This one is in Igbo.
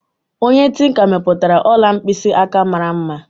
Onye tinka mepụtara ọla mkpịsị aka mara mma